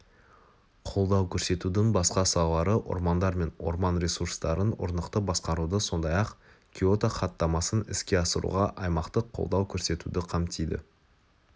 қолдау көрсетудің басқа салалары ормандар мен орман ресурстарын орнықты басқаруды сондай-ақ киото хаттамасын іске асыруға аймақтық қолдау көрсетуді қамтиды